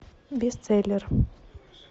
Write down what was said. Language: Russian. бестселлер